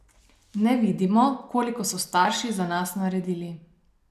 Ne vidimo, koliko so starši za nas naredili.